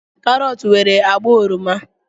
Karọt nwere agba oroma.